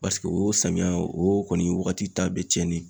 Paseke o samiya o kɔni waagati ta bɛ tiɲɛn de.